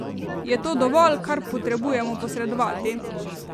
Je to dovolj, kar potrebujemo posredovati?